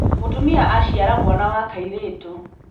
Mũtumia aciara mwana wa kairĩtu.